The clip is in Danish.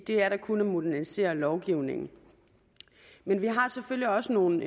det er da kun at modernisere lovgivningen men vi har selvfølgelig også nogle